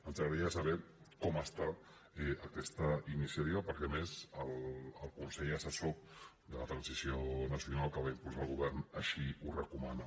ens agradaria saber com està aquesta iniciativa perquè a més el consell assessor per a la transició nacional que va impulsar el govern així ho recomana